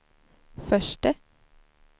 förste